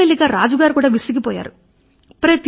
మెల్లి మెల్లిగా రాజుగారు కూడా విసిగిపోయారు